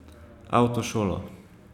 Avtošolo.